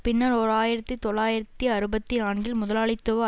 பின்னர் ஓர் ஆயிரத்தித் தொள்ளாயிரத்தி அறுபத்தி நான்கில் முதலாளித்துவ